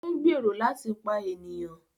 O n gbèrò láti pa ènìyàn